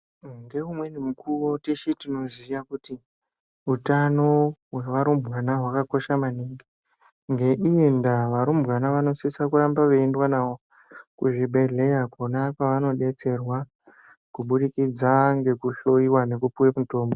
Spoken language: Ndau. Ngeumweni mukuwo teshe tinoziya kuti utano hwearumbwana hwakakosha maningi, ngeiyi ndaa, varumbwana vanosiswa kuramba veiendwa navo kuzvibhedhleya kona kwevanodetserwa kubudikidza ngekuhloyiwa nekupiwe mitombo.